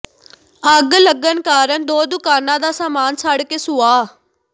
ਅੱਗ ਲੱਗਣ ਕਾਰਨ ਦੋ ਦੁਕਾਨਾਂ ਦਾ ਸਾਮਾਨ ਸੜ ਕੇ ਸੁਆਹ